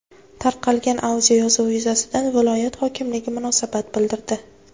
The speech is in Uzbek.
Tarqalgan audioyozuv yuzasidan viloyat hokimligi munosabat bildirdi .